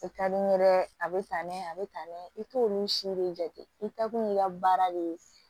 O ka di n ye dɛ a bɛ tan a bɛ tan i t'olu si de jate i kɛkun i ka baara de ye